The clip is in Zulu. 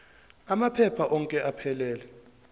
amaphepha onke aphelele